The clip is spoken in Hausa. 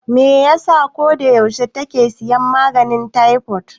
Me yasa ko da yaushe take siyan maganin taifod?